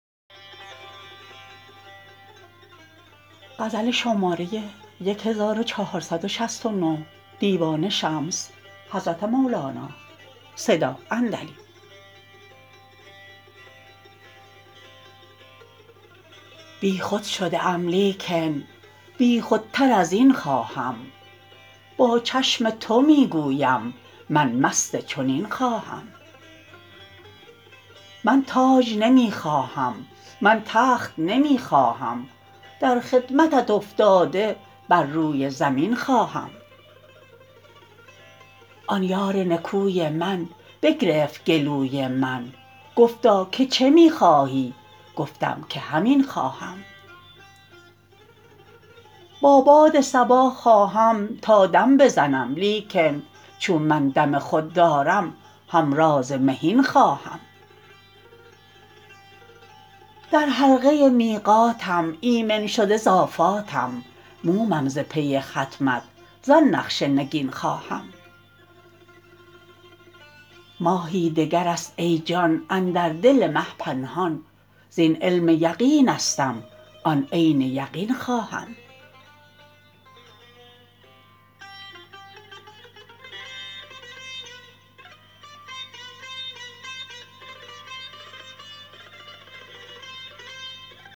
بیخود شده ام لیکن بیخودتر از این خواهم با چشم تو می گویم من مست چنین خواهم من تاج نمی خواهم من تخت نمی خواهم در خدمتت افتاده بر روی زمین خواهم آن یار نکوی من بگرفت گلوی من گفتا که چه می خواهی گفتم که همین خواهم با باد صبا خواهم تا دم بزنم لیکن چون من دم خود دارم همراز مهین خواهم در حلقه میقاتم ایمن شده ز آفاتم مومم ز پی ختمت زان نقش نگین خواهم ماهی دگر است ای جان اندر دل مه پنهان زین علم یقینستم آن عین یقین خواهم